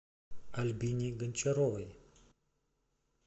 альбине гончаровой